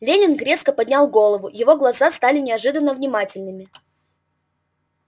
лэннинг резко поднял голову его глаза стали неожиданно внимательными